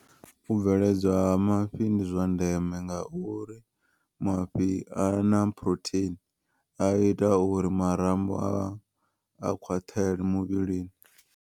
U bveledzwa ha mafhi ndi zwandeme ngauri mafhi a na phurotheini a ita uri marambo a khwaṱhele muvhilini.